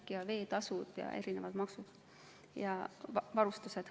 Need on veetasud ja erinevad maksud.